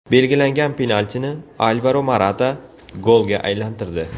Belgilangan penaltini Alvaro Morata golga aylantirdi.